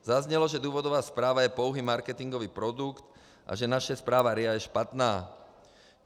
Zaznělo, že důvodová zpráva je pouhý marketingový produkt a že naše zpráva RIA je špatná.